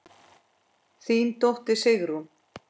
Þín dóttir, Sigrún.